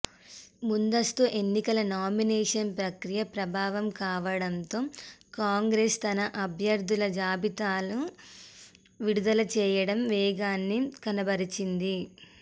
ముందస్తు ఎన్నికల నామినేషన్ ప్రక్రియ ప్రారంభం కావడంతో కాంగ్రెస్ తన అభ్యర్థుల జాబితాను విడుదల చేయడంలో వేగాన్ని కనబరిచింది